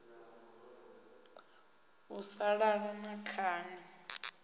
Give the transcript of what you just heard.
u sa lala na khani